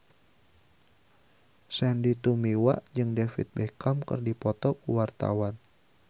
Sandy Tumiwa jeung David Beckham keur dipoto ku wartawan